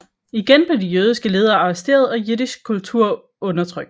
Igen blev de jødiske ledere arresteret og jiddisch kultur undertrykt